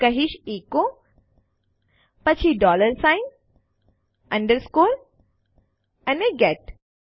હું કહીશ એચો પછી ડોલર સાઇન અન્ડરસ્કૉર અને ગેટ